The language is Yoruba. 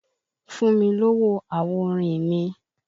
Fún mi lówó àwo orin mi!